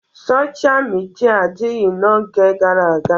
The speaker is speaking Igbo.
Sochịa midia adịghị n'oge gara aga.